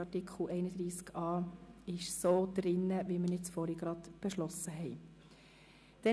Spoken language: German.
Das bedeutet, dass Artikel 31a so ins Gesetz kommt, wie wir ihn eben beschlossen haben.